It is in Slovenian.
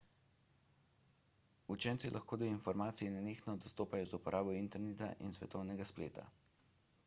učenci lahko do informacij nenehno dostopajo z uporabo interneta in svetovnega spleta